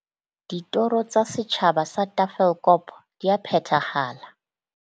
Ditoro tsa setjhaba sa Tafelkop di ya phethahala.